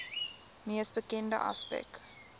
mees bekende aspek